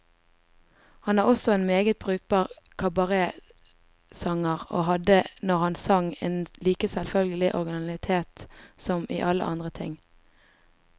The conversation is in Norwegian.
Han var også en meget brukbar kabaretsanger, og hadde, når han sang, en like selvfølgelig originalitet som i alle andre ting.